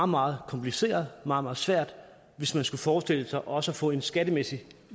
meget kompliceret og meget meget svært hvis man skulle forestille sig også at få en skattemæssig